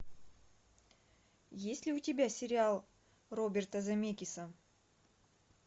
есть ли у тебя сериал роберта земекиса